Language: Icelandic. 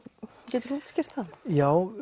getur þú útskýrt það já